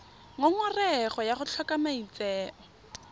ngongorego ya go tlhoka maitseo